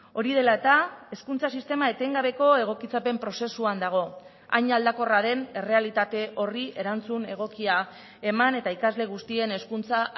hori dela eta hezkuntza sistema etengabeko egokitzapen prozesuan dago hain aldakorra den errealitate horri erantzun egokia eman eta ikasle guztien hezkuntza